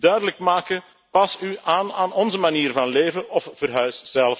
Wij moeten duidelijk maken pas u aan aan onze manier van leven of verhuis.